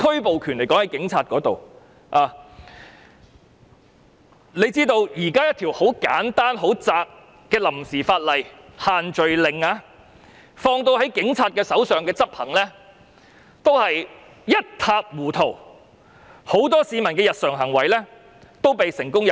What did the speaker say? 大家都知道，即使一條很簡單且涵蓋範圍狹窄的臨時法例，例如限聚令，交由警察執法也變得一塌糊塗，很多市民的日常行為均被成功入罪。